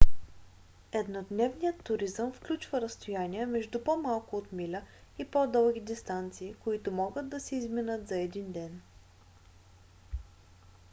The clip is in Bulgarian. еднодневният туризъм включва разстояния между по-малко от миля и по-дълги дистанции които могат да се изминат за един ден